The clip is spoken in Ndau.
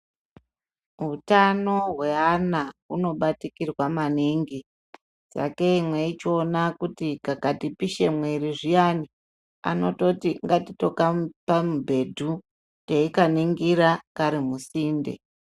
Hutano hweana hunobatikirwa maningi, sakei mwechiona kuti kakati pishe mwiri zviyani, anototi ngatitokapa mubhedhu teikaningira kari musinde.